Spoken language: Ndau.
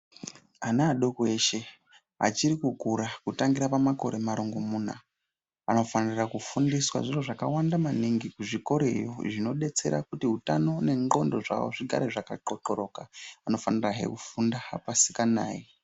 Ana adoko eshe achiri kukura kutangira pamakore marongomuna, anofanira kufundiswa zviro zvakawanda maningi kuzvikoroyo zvinodetsera kuti utano nendxondo zvawo zvigare zvakaxoxoroka. Vanofanirahe kufunda pasikanayi.